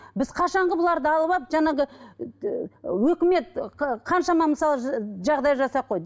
біз қашанғы бұларды алып алып жаңағы ііі өкімет қаншама мысалы жағдай жасап қойды